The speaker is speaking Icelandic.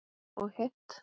Og hitt?